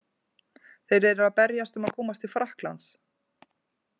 Þeir eru að berjast um að komast til Frakklands.